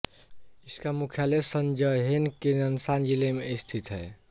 इसका मुख्यालय शेनज़्हेन के ननशान जिले में स्थित है